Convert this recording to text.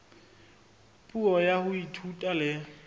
puo ya ho ithuta le